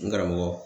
N karamɔgɔ